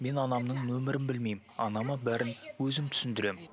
мен анамның нөмерін білмеймін анама бәрін өзім түсіндіремін